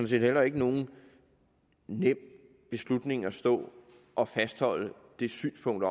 set heller ikke nogen nem beslutning at stå og fastholde det synspunkt